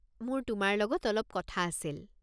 মোৰ তোমাৰ লগত অলপ কথা আছিল।